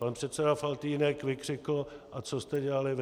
Pan předseda Faltýnek vykřikl: A co jste dělali vy?